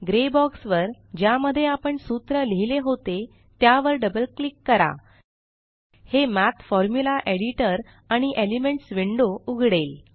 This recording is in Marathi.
ग्रे बॉक्स वर ज्यामध्ये आपण सूत्र लिहिले होते त्यावर डबल क्लिक करा हे मठ फॉर्म्युला एडिटर आणि एलिमेंट्स विंडो उघडेल